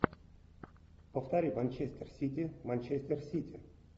повтори манчестер сити манчестер сити